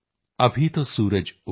ਅਭੀ ਤੋ ਸੂਰਜ ਉਗਾ ਹੈ